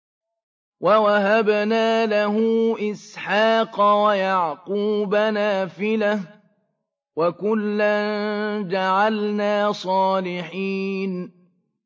وَوَهَبْنَا لَهُ إِسْحَاقَ وَيَعْقُوبَ نَافِلَةً ۖ وَكُلًّا جَعَلْنَا صَالِحِينَ